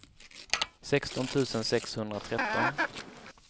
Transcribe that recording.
sexton tusen sexhundratretton